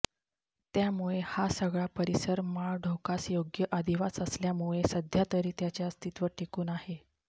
त्यामुळे हा सगळा परिसर माळढोकास योग्य अधिवास असल्यामुळे सध्यातरी त्याचे अस्तित्व टिकून आहे